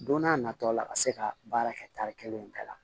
Don n'a nataw la ka se ka baara kɛ tari kelen bɛɛ la